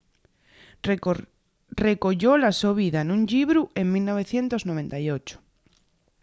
recoyó la so vida nun llibru en 1998